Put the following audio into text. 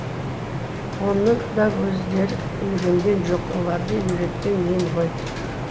оны да өздері үйренген жоқ оларды үйреткен мен ғой